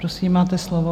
Prosím, máte slovo.